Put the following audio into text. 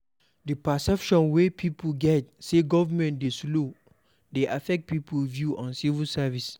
The perception wey pipo get sey government dey slow dey affect pipo view of civil service